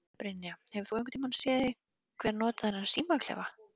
Brynja: Hefur þú einhvern tíman séð einhver nota þennan símaklefa?